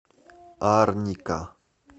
арника